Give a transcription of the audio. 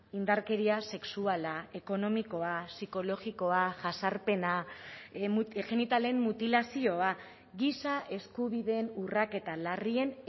indarkeria sexuala ekonomikoa psikologikoa jazarpena genitalen mutilazioa giza eskubideen urraketa larrien